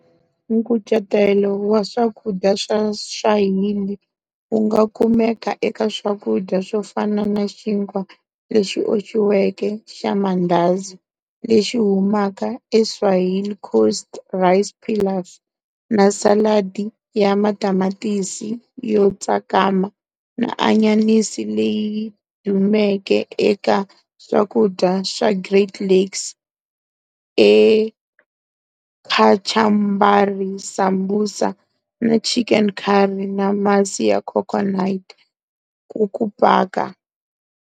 Nkucetelo wa swakudya swa Swahili wunga kumeka eka swakudya swofana na xinkwa lexi oxiweke xamandazi lexi humaka eSwahili Coast, rice pilaf, na saladi ya matamatisi yotsakama na anyanisi leyi dumeke eka swakudya swa Great Lakes ikachumbari, sambusa na chicken curry na masi ya coconutkuku paka.